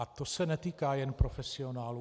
A to se netýká jen profesionálů.